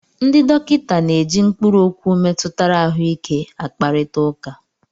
Ndị dọkịta na-eji mkpụrụ okwu metụtara ahụike a kparịta ụka.